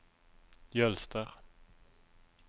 Jølster